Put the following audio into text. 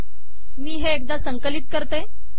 मी हे एकदा संकलित करते